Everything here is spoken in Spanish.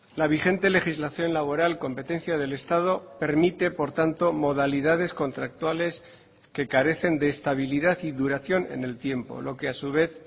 la vigente legislación laboral competencia del estado permite por tanto modalidades contractuales que carecen de estabilidad y duración en el tiempo lo que a su vez